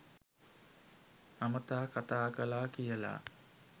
අමතා කථා කළා කියලා.